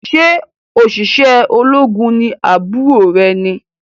Ṣe oṣiṣẹ ológun ní àbúrò rẹ ni?